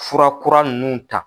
Fura kura nunnu ta